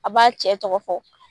A b'a cɛ tɔgɔ fɔ